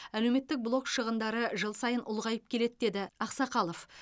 әлеуметтік блок шығындары жыл сайын ұлғайып келеді деді ақсақалов